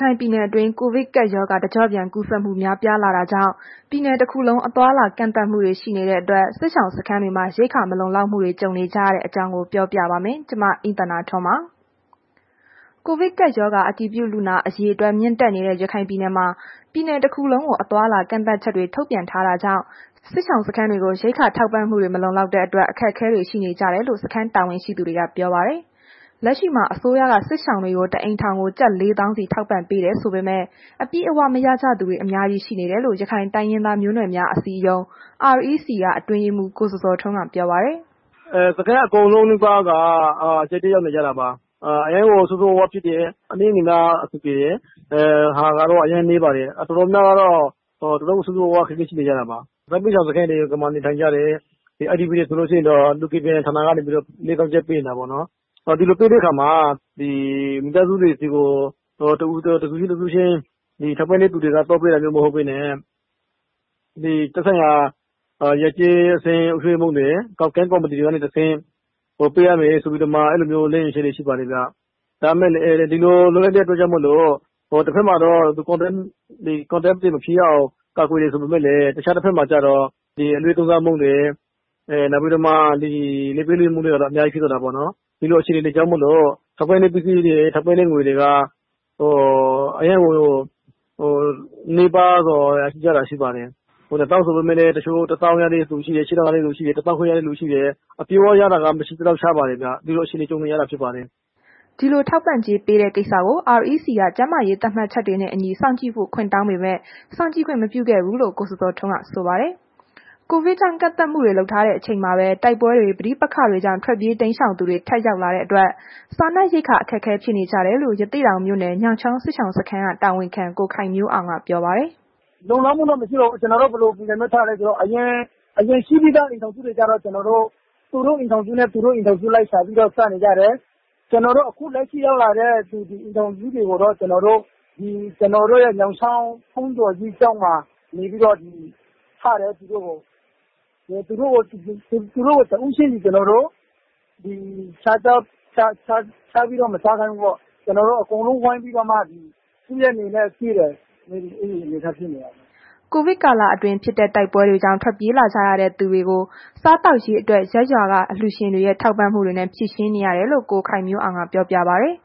ခိုင်ပြည်နယ်တွင်း ကိုဗစ်ကပ်ရောဂါ တကျော့ပြန်ကူးစက်မှု များပြားတာကြောင့် ပြည်နယ်တစ်ခုလုံး အသွားအလာကန့်သတ်မှုတွေ ရှိနေတဲ့အတွက် စစ်ရှောင်စခန်းတွေမှာ ရိက္ခာမလုံလောက်မှုတွေကြုံနေကြရတဲ့ အကြောင်းကို ဗွီအိုအေမြန်မာပိုင်းသတင်းထောက် မအိမ့်သန္တာထွန်းက ပြောပြပါမယ်။ ကိုဗစ်အတည်ပြုလူနာအရေအတွက် မြင့်တက်နေတဲ့ ရခိုင်ပြည်နယ်မှာ ပြည်နယ်တစ်ခုလုံးကို အသွားအလာ ကန့်သတ်ချက်တွေ ထုတ်ပြန်ထားတာကြောင့် စစ်ရှောင်စခန်းတွေကို ရိက္ခာထောက် ပံ့မှုတွေ မလုံလောက်တဲ့အတွက် အခက်အခဲတွေ ရှိနေကြတယ်လို့ စခန်းတာဝန်ရှိသူတွေက ပြောပါတယ်။ လက်ရှိမှာ အစိုးရက စစ်ရှောင်တွေကို တစ်အိမ်ထောင်ကို ၄၀,၀၀၀ စီထောက်ပံ့ပေးတယ်ဆိုပေမဲ့ အပြည့်အဝမရကြသူတွေအများကြီး ရှိနေတယ်လို့ ရခိုင်တိုင်းရင်းသားမျိုးနွယ်များအစည်းအရုံး REC အတွင်းရေးမှူး ကိုဇော်ဇော်ထွန်းက ပြောပါတယ်။ “စခန်းအကုန်လုံးနီးပါးက အခက်အခဲ ရှိနေကြတာပါ။ အနည်းငယ်လောက် အဆင်ပြေတယ်ဆိုတာကတော့ အရမ်းနည်းပါတယ်။ တော်တော်များများကတော့ ဆိုးဆိုးရွားရွား အခက်အခဲရှိနေကြတာပါ။ စစ်ဘေးရှောင်စခန်းတွေမှာ နေထိုင်ကြတဲ့ IDP တွေ ဆိုလို့ရှိရင်တော့ လူကယ်ပြန်ဌာနက နေပြီးတော့ ၄၀,၀၀၀ ကျပ်ပေးနေတာပေါ့နှော်။ ဒီလိုပေးတဲ့အခါမှာ မိသားစုတွေဆီကို တစ်ဖွဲ့ချင်းက မိသားစုတွေဆီကို သွားပေးတာမျိုး မဟုတ်ဘဲနဲ့ ဒီသက်ဆိုင်ရာ ရပ်ကျေးအသင်းအုပ်ချုပ်ရေးမှူးတွေကနေတဆင့် ပေးရမယ်ဆိုပြီးတော့ အဲ့လို လမ်းညွှန်ချက်တွေရှိပါတယ်။ ဒါပေမဲ့ ဒီလို လုပ်လိုက်တဲ့ အတွက်ကြောင့်မို့လို့ တစ်ဘက်မှာတော့ ထိတွေ့မှုတွေ သိပ်မဖြစ်အောင် ကာကွယ်တယ်ဆိုပေမဲ့လည်း တခြားတဘက်မှာကျတော့ ဒီအလွဲသုံးစားမှုတွေနောက် လာဘ်ပေးလာဘ်ယူမှုတွေကတော့ အများကြီးဖြစ်သွားတာပေါ့နှော်။ ဒီလိုအခြေအနေတွေကြောင်မို့လို့ ထောက်ပံ့တဲ့ပစ္စည်းတွေ ထောက်ပံ့တဲ့ ငွေတွေက အရမ်းကို နည်းပါးသွားတာ ရှိပါတယ်။၂၀,၀၀၀ ဆိုပေမဲ့လည်း တချို့ ၁၀,၀၀၀ ရတဲ့သူရှိတယ်။ ၈,၀၀၀ ရတဲ့သူရှိတယ်။ ၁၅,၀၀၀ ရတဲ့သူရှိတယ်။ အပြည့်အဝရတဲ့သူတွေက မရှိသလောက်ရှားပါတယ် ခင်ဗျ။ ဒီလို အခြေအနေကြုံနေရတာဖြစ်ပါတယ်။” ဒီလို ထောက်ပံ့ကြေးပေးတဲ့ ကိစ္စကို REC က ကျန်းမာရေးသတ်မှတ်ချက်တွေနဲ့ စောင့်ကြည့်ဖို့ ခွင့်တောင်းပေးမယ့် စောင့်ကြည့်ခွင့်မပြုခဲ့ဘူးလို့ ကိုဇော်ဇော်ထွန်းက ဆိုပါတယ်။ ကိုဗစ်ကြောင့် ကန့်သတ်မှုတွေ လုပ်ထားတဲ့အချိန်မှာပဲ တိုက်ပွဲတွေ ပဋိပက္ခတွေကြောင့် ထွက်ပြေးတိမ်းရှောင်သူတွေ ထပ်ရောက်လာတာကြောင့် စားရေ ရိက္ခာ အခက်အခဲဖြစ်နေကြတယ်လို့ ရသေ့တောင်မြို့နယ် ညောင်ချောင်းစစ်ရှောင်စခန်း တာဝန်ခံ ကိုခိုင်မျိုးအောင်က ပြောပါတယ်။ “လုံလောက်မှုတော့ မရှိပါဘူး။ ကျနော်တို့ ဘယ်လိုပုံစံနဲ့ထားလဲဆိုတော့ အရင်ရှိပြီးသားအိမ်ထောင် စုတွေကျတော့ ကျနော်တို့ သူတို့ အိမ်ထောင်စုလိုက် သူတို့ အိမ်ထောင်စုလိုက် ရှာပြီးတော့ စားနေကြတယ်။ ကျနော်တို့ ခုလက်ရှိရောက်လာတဲ့ အိမ်ထောင်စုတွေကိုတော့ ကျနော်တို့ရဲ့ ညောင် ချောင်းဘုန်းတော်ကြီးကျောင်းမှာ နေပြီးတော့ ထားတယ်။ သူတို့ကို သူတို့ကို တစ်ဦးချင်းစီ ကျနော်တို့ ရှာပြီးတော့ မစားခိုင်ဘူးပေါ့။ ကျနော်တို့အကုန်လုံး ဝိုင်းပြီးတော့မှ ရှိတဲ့ဟာလေးတွေနဲ့ ကျွေးတယ်ပေါ့၊ အဲ့လို အနေအထားဖြစ်နေပါတယ်။” ကိုဗစ်ကာလအတွင်းဖြစ်တဲ့ တိုက်ပွဲတွေကြောင့် ထွက်ပြေးလာကြရတဲ့သူတွေ စားသောက်ရေးအတွက် ရပ်ရွာက အလှူရှင်တွေရဲ့ထောက်ပံ့မှုနဲ့ ဖြေရှင်းနေရတယ်လို့ ကိုခိုင်မျိုးအောင်က ပြောပြပါတယ်။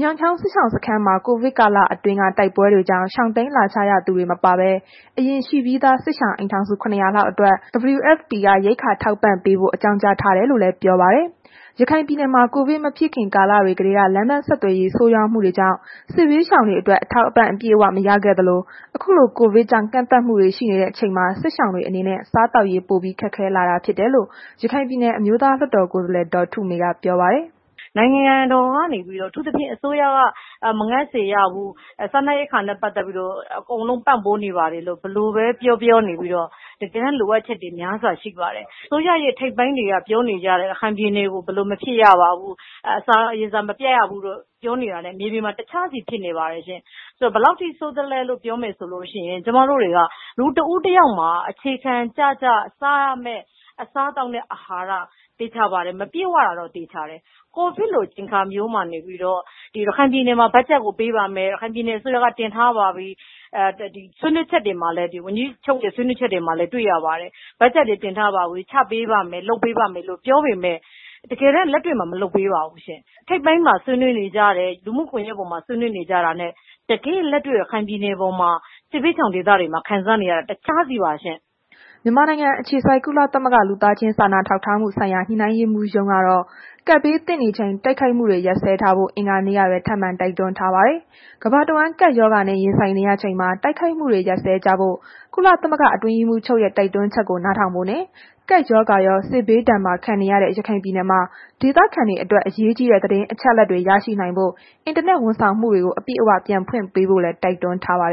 ညောင်ချောင်းစစ်ရှောင်စခန်းမှာ ကိုဗစ်ကာလအတွင်းက တိုက်ပွဲတွေကြောင့် ရှောင်တိမ်းလာကြရ သူတွေမပါဘဲ အရင်ရှိပြီးသား စစ်ရှောင် အိမ်ထောင်စု ၇၀၀ လောက်အတွက် WFP က ရိက္ခာထောက် ပံ့ပေးဖို့ အကြောင်းကြားထားတယ်လို့လည်း ပြောပါတယ်။ ရခိုင်ပြည်နယ်မှာ ကိုဗစ်မဖြစ်ခင် ကာလတွေကတည်းက လမ်းပန်းဆက်သွယ်ရေး ဆိုးရွားမှုတွေကြောင့် စစ်ဘေးရှောင်တွေအတွက် အထောက်အပံ့တွေ အပြည့်အဝမရခဲ့သလို ခုလို ကိုဗစ်ကြောင့် ကန့်သတ်မှုတွေ ရှိနေတဲ့ အချိန်မှာ စစ်ရှောင်တွေအနေနဲ့ စားသောက်ရေး ပိုပြီးခက်ခဲလာတာဖြစ်တယ်လို့ ရခိုင်ပြည်နယ် အမျိုးသားလွှတ်တော်ကိုယ်စားလှယ် ဒေါ်ထုမေက ပြောပါတယ်။ “နိုင်ငံတော်က နေပြီးတော့ အထူးသဖြင့် အစိုးရက မငတ်စေရဘူး၊ စားနပ်ရိက္ခာနဲ့ ပတ်သက်ပြီးတော့ အကုန်လုံးပံ့ပိုးနေပါတယ်လို့ ဘယ်လိုပဲပြောပြော တကယ်တမ်း လိုအပ်ချက်တွေများစွာရှိပါတယ်။ အစိုးရရဲ့ ထိပ်ပိုင်းတွေက ပြောနေကြတယ် ရခိုင်ပြည်ကို ဘယ်လို မဖြစ်ရပါဘူး။ အစာရေစာ မပြတ်ရဘူးလို့ ပြောတာနဲ့ မြေပြင်မှာ တခြားစီဖြစ်နေပါတယ်ရှင်။ ဘယ်လောက်ထိဆိုးသလဲလို့ ဆိုလို့ရှိရင် ကျမတို့တွေက လူတစ်ဦးတစ်ယောက်မှာ အခြေခံကျကျစားရမယ့် အစားအသောက်နဲ့ အာဟာရ သေချာပါတယ်၊ မပြည့်ဝတာတော့ သေချာပါတယ်။ ကိုဗစ်လို အချိန်အခါမျိုးမှာနေပြီးတော့ ရခိုင်ပြည်နယ်မှာ ဘတ်ဂျက်ကို ပေးပါမယ်။ တင်ထားပါပြီ။ ဝန်ကြီးချုပ်ရဲ့ ဆွေးနွေးချက်တွေမှာလည်း တွေ့ရပါတယ်။ ဘတ်ဂျက်တွေတင်ထားပါပြီ၊ ချပေးပါမယ်။ လုပ်ပေးပါမယ်လို့ ပြောပေမဲ့ တကယ်တမ်းလက်တွေ့မှာ မလုပ်ပေးပါဘူးရှင့်။ ထိပ်ပိုင်းမှာဆွေးနွေးနေကြတာ လူမှုကွန်ယက်မှာ ဆွေးနွေးနေကြတာနဲ့ တကယ့်လက်တွေ့ရခိုင်ပြည်နယ်မှာ စစ်ဘေးရှောင်ဒေသတွေမှာ ခံစားနေရတာ တွေက တခြားစီပါရှင့်” မြန်မာနိုင်ငံ အခြေစိုက် ကုလသမဂ္ဂ လူသားချင်းစာနာထောက်ထားမှုဆိုင်ရာ ညှိနှိုင်းရေးမှူးရုံးကတော့ ကပ်ဘေးသင့်နေချိန် တိုက်ခိုက်မှုတွေ ရပ်စဲဖို့ အင်္ဂါနေ့ကပဲ ထပ်မံတိုက်တွန်းထားပါတယ်။ ကမ္ဘာတဝန်း ကပ်ရောဂါနဲ့ ရင်ဆိုင်နေရချိန်မှာ တိုက်ခိုက်မှုတွေ ရပ်စဲကြဖို့ ကုလသမဂ္ဂ အတွင်းရေးမှူးချုပ်ရဲ့ တိုက်တွန်းချက်ကို နားထောင်ဖို့နဲ့ ကပ်ရောဂါရော စစ်ဘေးဒဏ်ပါခံနေရတဲ့ ရခိုင်ပြည်နယ်မှာ ဒေသခံတွေအတွက် အရေးကြီးတဲ့ သတင်းအချက်အလက်တွေ ရရှိနိုင်အောင် အင်တာနက် ဝန်ဆောင်မှုတွေ အပြည့်အ၀ ပြန်ဖွင့်ပေးဖို့လည်း တိုက်တွန်းထားပါတယ်